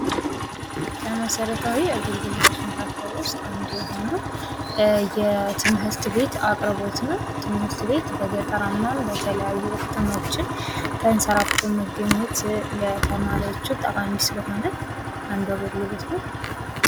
ከመሰረታዊ የአገልግሎቶች መካከል ውስጥ አንዱ የሆነው አንዱ የትምህርት ቤት አቅርቦት ነው ትምህርት ቤት በገጠራማ እና በተለያዩ ከተሞችም ተንሰራፍቶ የሚገኝ ለተማሪዎች ጠቃሚ ስለሆነ ።